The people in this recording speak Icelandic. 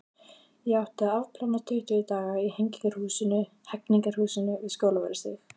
Ég átti að afplána tuttugu daga í Hegningarhúsinu við Skólavörðustíg.